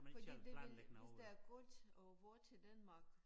Fordi det hvis hvis der er koldt og vådt i Danmark